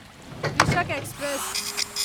कृषक एक्सप्रेस